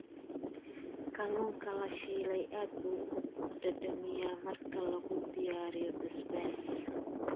Kalluunka la shiilay aad buu u dhadhamiyaa marka lagu diyaariyo basbaas.